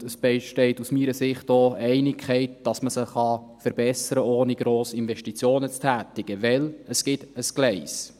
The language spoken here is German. Und es besteht aus meiner Sicht auch Einigkeit, dass man sie verbessern kann, ohne gross Investitionen zu tätigen, denn es gibt ein Gleis.